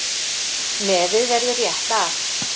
Nefið verður rétt af.